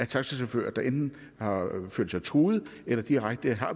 taxachauffører der enten har følt sig truet eller direkte har